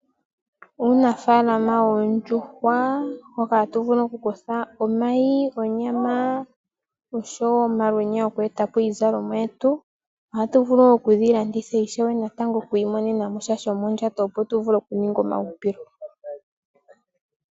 Uunafaalama woondjuhwa hoka hatu vulu oku kutha omayi nonyama osho woo omalwenya goku etapo iizalomwa yetu . Ohatu vulu woo okudhi landitha po natango. Opo tu imonene mo sha shomondjato opo vule oku mona omahupilo.